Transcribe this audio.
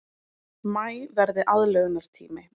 Maí verði aðlögunartími